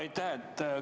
Aitäh!